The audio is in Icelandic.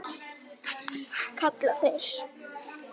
kalla þeir.